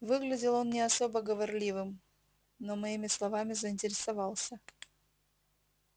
выглядел он не особо говорливым но моими словами заинтересовался